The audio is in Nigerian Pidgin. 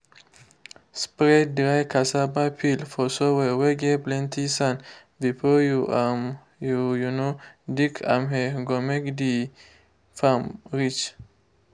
spread dry cassava peel for soil whey get plenty sand before you um you um dig amhe go make um the farm rich.